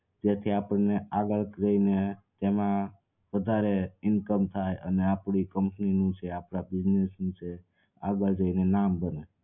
જેથી આપણને આગળ જઈને તેમાં વધારે income થાય અને આપડી company નું જે છે આપડા business નું છે આગળ જઈને નામ બને